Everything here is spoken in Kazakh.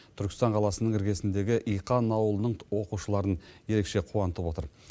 түркістан қаласының іргесіндегі иқан ауылының оқушыларын ерекше қуантып отыр